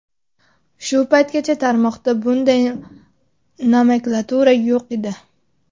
Shu paytgacha tarmoqda bunday nomenklatura yo‘q edi.